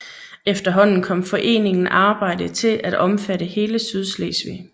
Efterhånden kom foreningen arbejde til at omfatte hele Sydslesvig